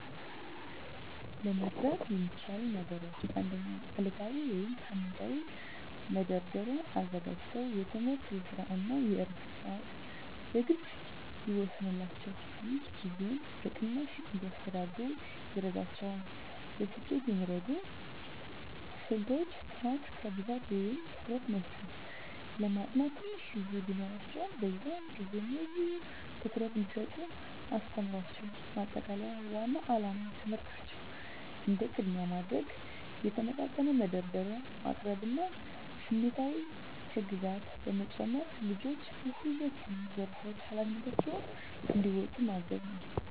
ለመርዳት የሚቻሉ ነገሮች 1. ዕለታዊ ወይም ሳምንታዊ መደርደሪያ አዘጋጅተው የትምህርት፣ የስራ እና የዕረፍት ሰዓትን በግልፅ ይወስኑላቸው። ይህ ጊዜን በቅናሽ እንዲያስተዳድሩ ይረዳቸዋል። ለስኬት የሚረዱ ስልቶች · ጥራት ከብዛት በላይ ትኩረት መስጠት ለማጥናት ትንሽ ጊዜ ቢኖራቸውም፣ በዚያን ጊዜ ሙሉ ትኩረት እንዲሰጡ አስተምሯቸው። ማጠቃለያ ዋናው ዓላማ ትምህርታቸውን እንደ ቅድሚያ ማድረግ፣ የተመጣጠነ መደርደሪያ ማቅረብ እና ስሜታዊ ህግጋት በመጨመር ልጆቹ በሁለቱም ዘርፎች ኃላፊነታቸውን እንዲወጡ ማገዝ ነው።